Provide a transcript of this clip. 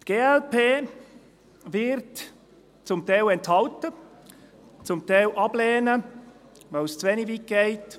Die glp wird sich zum Teil enthalten, zum Teil ablehnen, weil es zu wenig weit geht.